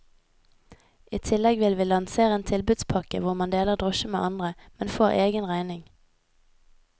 I tillegg vil vi lansere en tilbudspakke hvor man deler drosje med andre, men får egen regning.